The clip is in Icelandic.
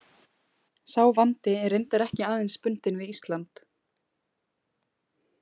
Sá vandi er reyndar ekki aðeins bundinn við Ísland.